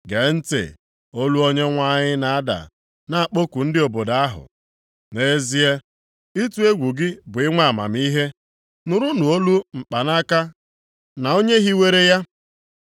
Gee ntị! Olu Onyenwe anyị na-ada na-akpọku ndị obodo ahụ, nʼezie, ịtụ egwu gị bụ inwe amamihe. “Nụrụnụ olu mkpanaka na Onye hiwere ya.